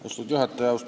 Austatud juhataja!